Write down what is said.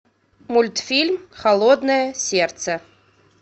мультфильм холодное сердце